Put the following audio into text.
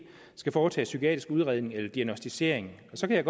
skal foretages psykiatrisk udredning eller diagnosticering så kan